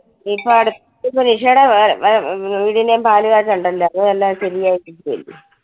ഇപ്പൊ അടുത്ത് ഇപ്പൊ നിഷേടെ വാ ~വീടിന്റേം പാല് കാച്ചുണ്ടെല്ലോ അപ്പൊ എല്ലാം ശെരിയായിക്കോളും.